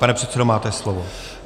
Pane předsedo, máte slovo.